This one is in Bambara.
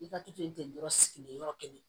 I ka to ten yɔrɔ sigilen yɔrɔ kelen